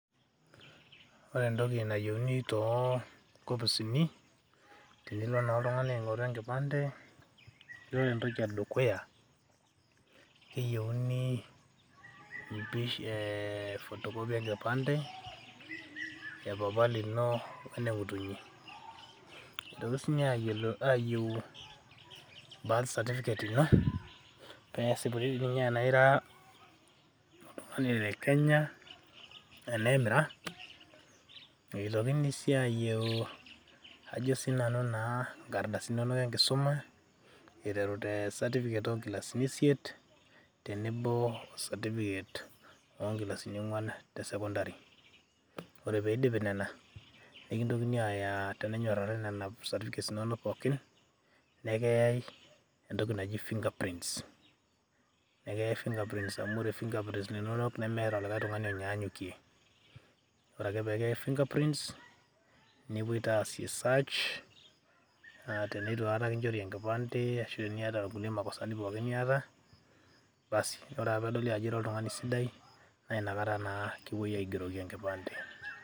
ore entoki nayieuni toonkopisini tenilo naa oltung'ani aing'oru enkimpande yiolo entoki edukuya keyieuni eh, photocopy enkipande epapa lino wene ng'utunyi itokini sininye ayieu birth certificate ino pesipuni dii ninye tenaira oltung'ani le kenya enemira eitokini sii ayieu ajo sinanu naa inkardasini inonok enkisuma iterute certificate onkilasini isiet tenebo o certificate onkilasini ong'uan te sekondari ore pidipi nena nikintokini aya tenenyorrari nena certificates inonok pookin nekiyai entoki naji fingerprints nekiyai fingerprints amu ore finger prints inonok nemeeta likae tung'ani onyanyukie ore ake pekiyai fingerprints nepuoi taa asie search aatenetu aikata kinchori enkimpande ashu teniata irkulie makosani pookin niata basi ore ake peedoli ao ira oltung'ani sidai naa inakata naa kipuoi aigeroki enkipande.